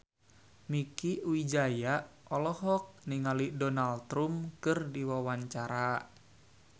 Mieke Wijaya olohok ningali Donald Trump keur diwawancara